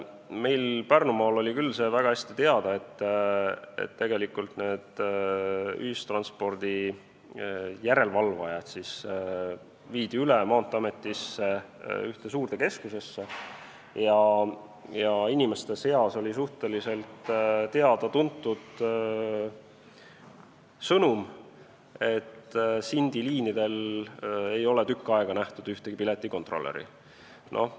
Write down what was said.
Meil Pärnumaal oli küll see väga hästi teada, et järelevalve viidi üle Maanteeametisse ühte suurde keskusesse, ja inimeste seas oli suhteliselt teada-tuntud sõnum, et Sindi liinidel ei ole tükk aega nähtud ühtegi piletikontrolöri.